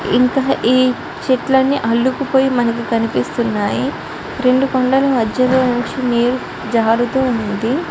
ఇంకా ఈ చెట్లన్నీ అల్లుకుపోయి మనకు కనిపిస్తున్నాయి రెండు కొండల మధ్యలో నుంచి నీరు జారుతు ఉంది.